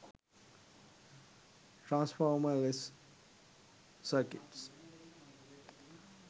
transformer less circuits